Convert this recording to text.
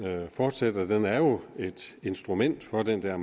fortsætter den er jo et instrument for den der